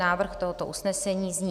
Návrh tohoto usnesení zní: